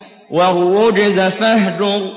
وَالرُّجْزَ فَاهْجُرْ